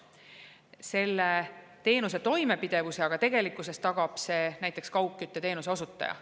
Selle teenuse toimepidevuse aga tagab tegelikkuses näiteks kaugkütte teenuse osutaja.